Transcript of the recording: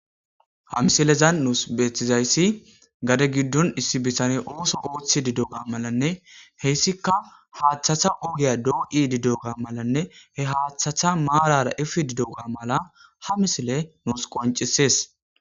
ha misilezan nuus beeththizayssi gade giddon issi bisane ooso ooththi didoga malanne heyssikka haaththatha ogiya doo7i didoga malanne he haaththatha maarara ifi didoga mala ha misile nuus qoncisees